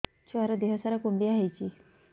ଛୁଆର୍ ଦିହ ସାରା କୁଣ୍ଡିଆ ହେଇଚି